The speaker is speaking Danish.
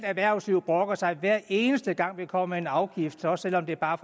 erhvervslivet brokker sig hver eneste gang vi kommer med en afgift også selv om det bare